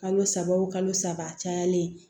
Kalo saba o kalo saba cayalen